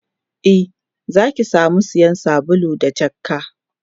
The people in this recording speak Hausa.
e Zaki samu sayan sabulu da jakka